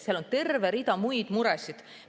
Seal on terve rida muid muresid.